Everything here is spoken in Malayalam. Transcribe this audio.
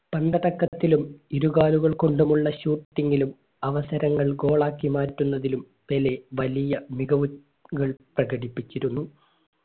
ത്തക്കത്തിലും ഇരുകാലുകൾ കൊണ്ടുമുള്ള shooting ലും അവസരങ്ങൾ goal ആക്കി മാറ്റുന്നതിലും പെലെ വലിയ മിക വു കൾ പ്രകടിപ്പിച്ചിരുന്നു